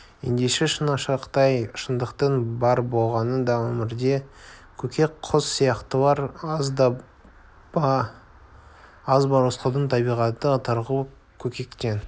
ендеше шынашақтай шындықтың бар болғаны да өмірде көкек құс сияқтылар аз ба рысқұлдың табиғаты тарғыл көкектен